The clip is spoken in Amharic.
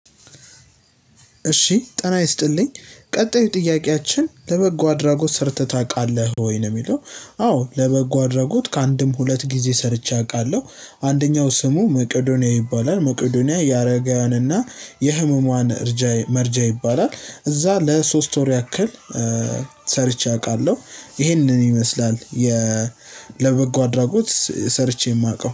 እሺ ጤና ይስጥልኝ ቀጣዩ ጥያቄያችን ለበጎ አድራጎት ሰርተህ ታውቃለህ ወይ ነው የሚለው? አዎ ለበጎ አድርጎት ከአንድም ሁለት ጊዜ ሰርቼ አውቃለሁ። አንደኛው ስሙ መቄዶንያ ይባላል መቄዶንያ ያረጋውንና የህመሟን እርጃ መርጃ ይባላል። እዛ ለሶስት ወር ያክል እ ሰርቼ አውቃለሁ። ይሄንን ይመስላል የ ለበጎ አድራጎት ሰርቼ የማውቀው